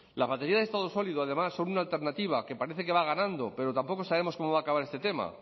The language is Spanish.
la batería de estado sólido además es una alternativa que parece que va ganando pero tampoco sabemos cómo va a acabar este tema